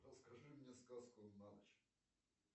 расскажи мне сказку на ночь